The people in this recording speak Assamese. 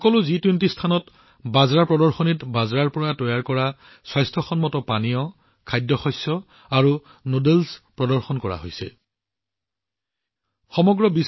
সকলো জি২০ স্থানত বাজৰাৰ পৰা তৈয়াৰ কৰা স্বাস্থ্য পানীয় খাদ্যশস্য আৰু নুডলছ বাজৰা প্ৰদৰ্শনীত প্ৰদৰ্শন কৰা হৈছে